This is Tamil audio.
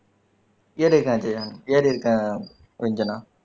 ஏறி இருக்க அஜயன் ஏறி இருக்கேன் ரஞ்சனா